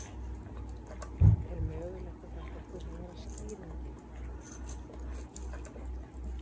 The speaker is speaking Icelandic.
Er mögulegt að þetta kunni að vera skýringin?